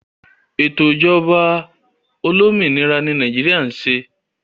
Ètò ìjọba olómìnira ni Nàìjíríà ń ṣe